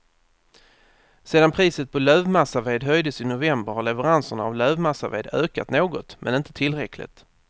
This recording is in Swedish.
Sedan priset på lövmassaved höjdes i november har leveranserna av lövmassaved ökat något, men inte tillräckligt.